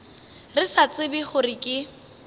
re sa tsebe gore ke